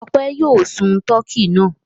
Ọpẹ́ yóò sun tọkí náà.